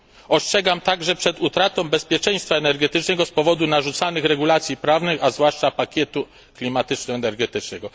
Ostrzegam też przed utratą bezpieczeństwa energetycznego z powodu narzucanych regulacji prawnych, a zwłaszcza pakietu klimatyczno energetycznego.